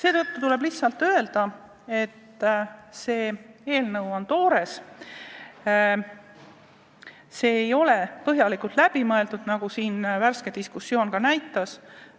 Praegu tuleb lihtsalt öelda, et see eelnõu on toores, see ei ole põhjalikult läbi mõeldud, nagu äsjane diskussioon ka näitas.